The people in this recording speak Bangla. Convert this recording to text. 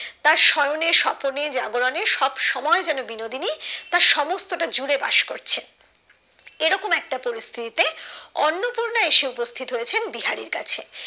তার শয়নে স্বপনে জাগরণে সবসময় যেন বিনোদিনী তার সমস্ত টা জুড়ে বাস করছে এরকম একটা পরিস্থিতি তে অন্নপূর্ণা এসে উপস্থিত হয়েছে বিহারীর কাছে